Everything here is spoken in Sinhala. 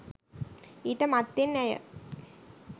ඊට මත්තෙන් ඇය